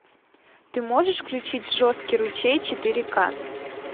ты можешь включить жесткий ручей четыре ка